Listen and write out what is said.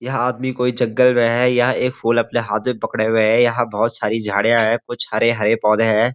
यहाँ आदमी कोई जंगल में है यह एक फूल अपने हाथ में पकड़े हुए हैं यहाँ बहुत सारी झाड़ियाँ हैं कुछ हरेहरे पौधे हैं।